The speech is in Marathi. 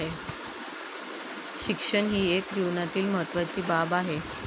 शिक्षण ही एक जीवनातील महत्वाची बाब आहे.